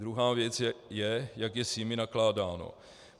Druhá věc je, jak je s nimi nakládáno.